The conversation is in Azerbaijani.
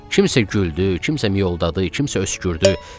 Kimsə güldü, kimsə miyoldadı, kimsə öskürdü.